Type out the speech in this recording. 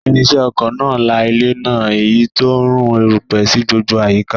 Irinṣẹ́ oko náà la ilẹ̀ náà, èyí tó ń rú erùpẹ̀ sí gbogbo àyíká